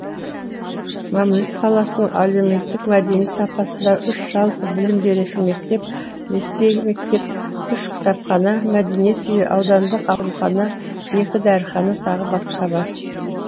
мамлют қаласының әлеуметтік мәдени сапасында үш жалпы білім беретін мектеп лицей мектеп үш кітапхана мәдениет үйі аудандық аурухана екі дәріхана тағы басқа бар